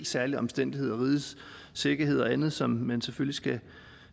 særlige omstændigheder rigets sikkerhed og andet som man skal selvfølgelig